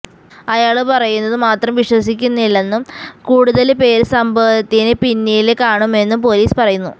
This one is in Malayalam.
അയാള് പറയുന്നത് മാത്രം വിശ്വസിക്കുന്നില്ലെന്നും കൂടുതല് പേര് സംഭവത്തിന് പിന്നില് കാണുമെന്നും പോലസ് പറയുന്നു